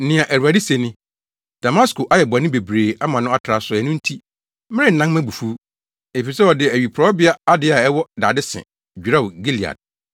Nea Awurade se ni: “Damasko ayɛ bɔne bebree ama no atra so ɛno nti, merennan mʼabufuw. Efisɛ ɔde awiporowbea ade a ɛwɔ dade se dwerɛw Gilead.